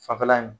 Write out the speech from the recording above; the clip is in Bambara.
Fanfɛla in